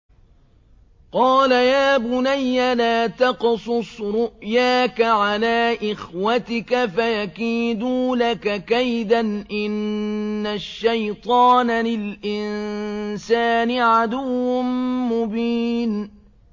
قَالَ يَا بُنَيَّ لَا تَقْصُصْ رُؤْيَاكَ عَلَىٰ إِخْوَتِكَ فَيَكِيدُوا لَكَ كَيْدًا ۖ إِنَّ الشَّيْطَانَ لِلْإِنسَانِ عَدُوٌّ مُّبِينٌ